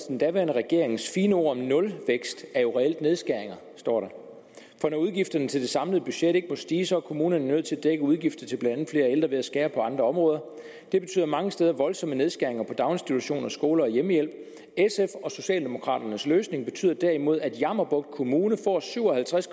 den daværende regerings fine ord om nulvækst er jo reelt nedskæringer for når udgifterne til det samlede budget ikke må stige så er kommunerne jo nødt til at dække udgifter til blandt ældre ved at skære på andre områder det betyder mange steder voldsomme nedskæringer på daginstitutioner skoler og hjemmehjælp sf og socialdemokraternes løsning betyder derimod at jammerbugt kommune får syv og halvtreds